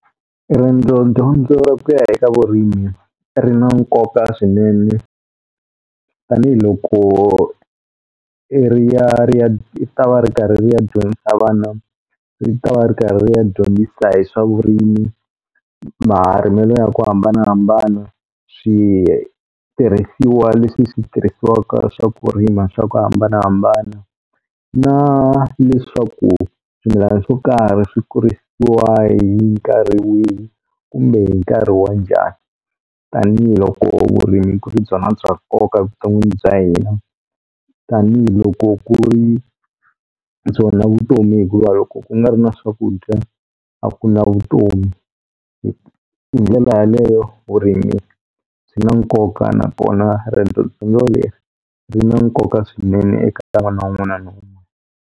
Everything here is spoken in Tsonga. Riendzodyondzo ra ku ya eka vurimi ri na nkoka swinene tanihiloko ri ya ri ya ta va ri karhi ri ya dyondzisa vana ri ta va ri karhi ri ya dyondzisa hi swa vurimi marimelo ya ku hambanahambana swi tirhisiwa leswi swi tirhisiwaka swa ku rima swa ku hambanahambana na leswaku swimilani swo karhi swi kurisiwa hi nkarhi wihi kumbe hi nkarhi wa njhani tanihiloko vurimi ku ri byona bya nkoka evuton'wini bya hina tanihiloko ku ri byona vutomi hikuva loko ku nga ri na swakudya a ku na vutomi hi ndlela yaleyo vurimi byina na nkoka nakona riendzodyondzo leri ri na nkoka swinene eka ka n'wana wun'wana .